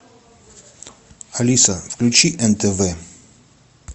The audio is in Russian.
алиса включи нтв